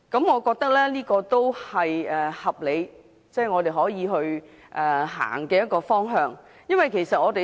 我覺得這是合理，我們可以朝這個方向走。